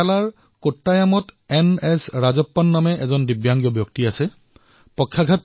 কেৰালাৰ কোট্টয়মত এজন বয়সস্থ দিব্যাংগ লোক আছে তেওঁৰ নাম এন এছ ৰাজপ্পন